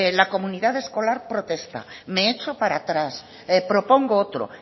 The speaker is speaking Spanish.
la comunidad escolar protesta me echo para tras propongo otro